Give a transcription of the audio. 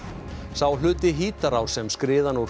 sá hluti Hítarár sem skriðan úr